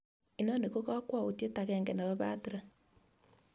inoni ko kakwautiet agenge nepo patrick